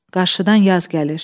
Qarşıdan yaz gəlir.